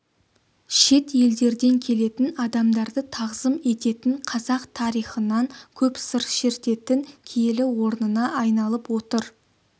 шет елдерден келетін адамдарды тағзым ететін қазақ тарихынан көп сыр шертетін киелі орнына айналып отыр